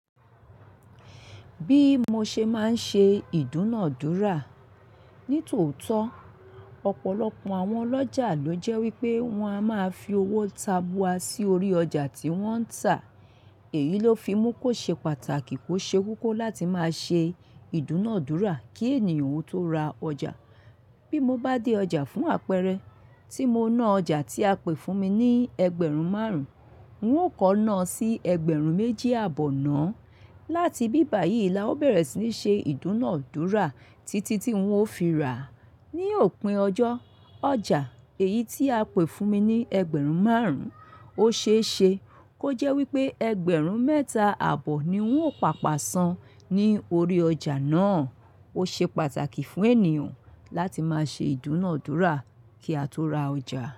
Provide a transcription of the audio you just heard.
Bí mo ṣe máa ń ṣe ìdúnadúrà. Ní tòótọ́, ọ̀pọ̀lọpọ̀ àwọn ọlọ́jà ló jẹ́ wípé wọ́n á máa fi owó tabua sí orí ọjà tí wọ́n ń tà. Èyí ló fi mú kó ṣe pàtàkì kó ṣe kókó láti máa ṣe ìdúnadúrà kí ènìyàn ó tó ra ọjà. Bí mo bá dé ọjà fún àpẹẹrẹ, tí mo ná ọjà tí a pè fún mi ní ẹgbẹ̀rún márùn-ún, wọn ó kọ náà sí ẹgbẹ̀rún méjì abọ́ náà. Láti bíbà yìí la ó bẹ̀rẹ̀ sí ní ṣe ìdúnadúrà títí tí wọn ó fi rà. Ni òpin ọjọ́, ọjà èyí tí a pè fún mi ní ẹgbẹ̀rún márùn-ún, ó ṣe é ṣe kó jẹ́ wípé ẹgbẹ̀rún mẹ́ta àbọ̀ ni wọn ó pàpà sàn ní orí ọjà náà. Ó ṣe pàtàkì fún ènìyàn láti máa ṣe ìdúnadúrà kí a tó ra ọjà.